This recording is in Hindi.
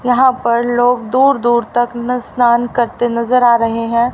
यहां पर लोग दूर दूर तक स्नान करते नजर आ रहे हैं।